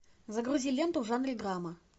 загрузи ленту в жанре драма